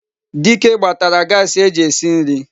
Dike gbatara Gasii eji esi nri